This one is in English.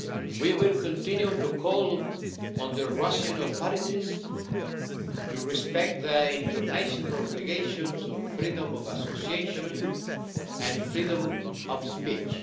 We will continue to call on the Russian authorities to respect their international obligations on freedom of association and freedom of speech.